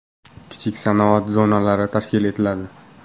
Kichik sanoat zonalari tashkil etiladi.